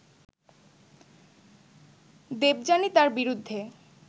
দেবযানী তার বিরুদ্ধে